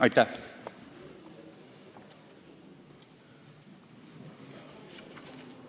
Aitäh!